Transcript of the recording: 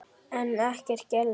En ekkert gerðist.